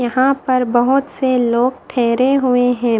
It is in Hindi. यहां पर बहुत से लोग ठहरे हुए हैं।